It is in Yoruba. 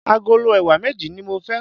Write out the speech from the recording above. Agolo ẹ̀wà méjì ní mo fẹ́.